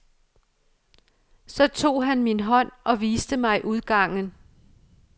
Så tog han min hånd og viste mig udgangen.